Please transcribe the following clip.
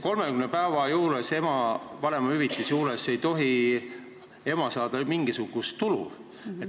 30 päeva jooksul vanemahüvitist saades ei tohi ema saada mingisugust tulu.